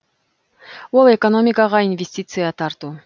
ол экономикаға инвестиция тарту